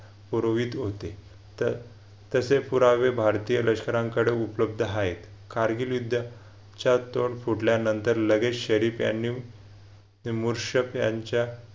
पूर्वीत होते तर तसे पुरावे भारतीय लष्करांकडे उपलब्ध आहेत. कारगिल युद्धच्या तोंड फुटल्यानंतर लगेच शरीफ यांनी मूरशफ यांच्या